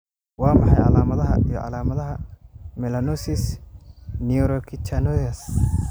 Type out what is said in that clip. Waa maxay calaamadaha iyo calaamadaha melanosis Neurocutaneous?